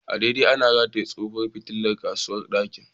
An dade ana rataye tsohuwar fitilar a kusurwar dakin.